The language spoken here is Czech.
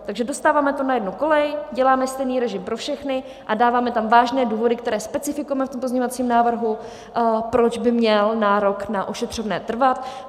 Takže dostáváme to na jednu kolej, děláme stejný režim pro všechny a dáváme tam vážné důvody, které specifikujeme v tom pozměňovacím návrhu, proč by měl nárok na ošetřovné trvat.